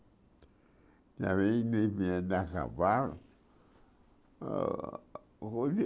andar a cavalo. Ah